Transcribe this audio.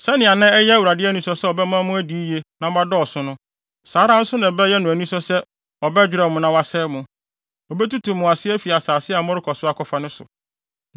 Sɛnea na ɛyɛ Awurade anisɔ sɛ ɔbɛma mo adi yiye na moadɔɔso no, saa ara nso na ɛbɛyɛ no anisɔ sɛ ɔbɛdwerɛw mo na wasɛe mo. Obetutu mo ase afi asase a morekɔ so akɔfa no so.